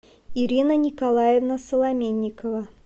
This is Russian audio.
ирина николаевна соломенникова